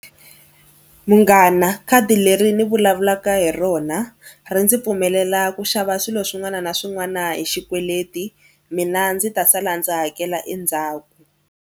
Munghana khadi leri ni vulavulaka hi rona ri ndzi pfumelela ku xava swilo swin'wana na swin'wana hi xikweleti mina ndzi ta sala ndzi hakela endzhaku.